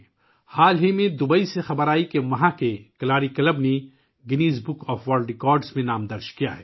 حال ہی میں دوبئی سے خبر آئی کہ وہاں کے کلاری کلب نے اپنا نام Guinness Book of World Record میں درج کروا لیا ہے